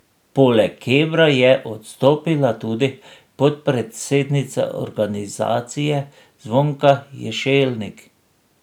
Poleg Kebra je odstopila tudi podpredsednica organizacije Zvonka Ješelnik.